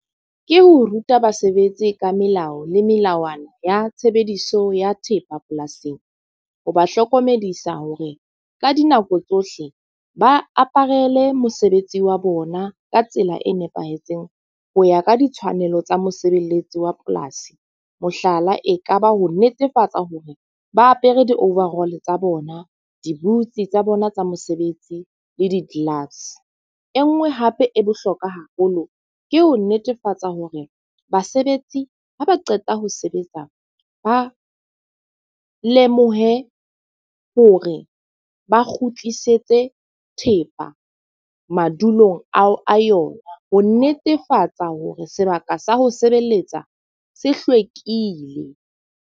Ke ho ruta basebetsi ka melao le melawana ya tshebediso ya thepa polasing. Ho ba hlokomedisa hore ka dinako tsohle ba aparele mosebetsi wa bona ka tsela e nepahetseng ho ya ka ditshwanelo tsa mosebeletsi wa polasi. Mohlala, e ka ba ho netefatsa hore ba apere di-overall tsa bona, di-boots tsa bona tsa mosebetsi le di-glass. E nngwe hape e bohlokwa haholo ke ho netefatsa hore basebetsi ha ba qeta ho sebetsa, ba lemohe hore ba kgutlisetse thepa madulong ao a yona. Ho netefatsa hore sebaka sa ho sebeletsa se hlwekile.